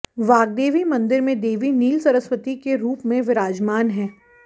वाग्देवी मंदिर में देवी नील सरस्वती के रूप में विराजमान है